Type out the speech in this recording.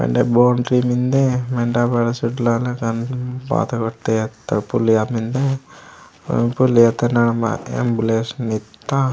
एने बोंट्री मिन्दे मेंड्रा बड़ा सुटला लगान बाथ वो तिहतत्र पुलिया मिन्दे अन पुलिया तनाव एम्बुलेंस मीथा।